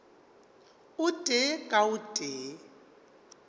o tee ka o tee